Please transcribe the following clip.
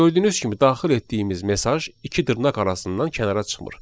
Gördüyünüz kimi daxil etdiyimiz mesaj iki dırnaq arasından kənara çıxmır.